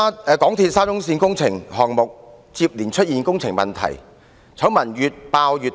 "港鐵沙中線工程項目接連出現問題，醜聞越爆越大。